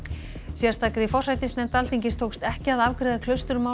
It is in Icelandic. sérstakri forsætisnefnd Alþingis tókst ekki að afgreiða